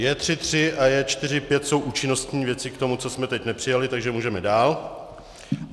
J3.3 a J4.5 jsou účinnostní věci k tomu, co jsme teď nepřijali, takže můžeme dál.